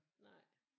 Nej